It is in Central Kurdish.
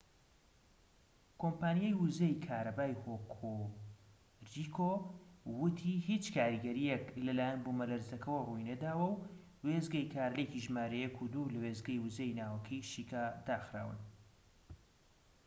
کۆمپانیای وزەی کارەبایی هۆکوریکو وتی هیچ کاریگەریەک لەلایەن بومەلەرزەکەوە ڕووی نەداوە و وێستگەی کارلێکی ژمارە ١ و ٢ لە وێستگەی وزەی ناوەکیی شیکا داخراون